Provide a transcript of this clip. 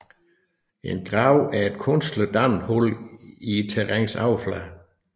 En grav er et kunstigt dannet hul i terrænets overflade